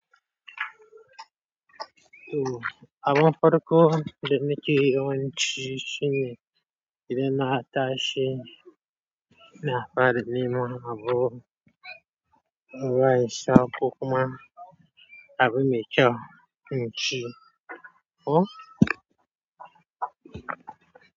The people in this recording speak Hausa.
To, abun farko da nike yawanci shine, idan na tashi, na fara neman abu, ruwa in sha, kokuma, abu me kysu in ci. Ko.